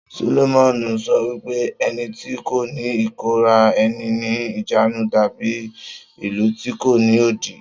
Solomoni sọ wípé ẹni tí kò ní ìkóra ẹni ní ìjánu dàbí ìlú tí kò ní odi